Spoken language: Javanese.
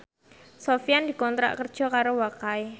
Sofyan dikontrak kerja karo Wakai